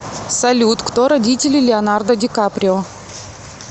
салют кто родители леонардо ди каприо